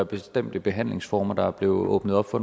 bestemte behandlingsformer der bliver åbnet op for